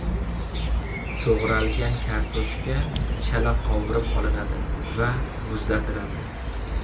To‘g‘ralgan kartoshka chala qovurib olinadi va muzlatiladi.